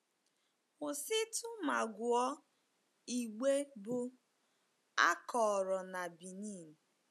Kwụsịtụ ma gụọ igbe bụ́ “A Kọrọ na Benin .”